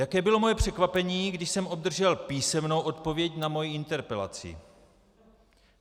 Jaké bylo moje překvapení, když jsem obdržel písemnou odpověď na svoji interpelaci.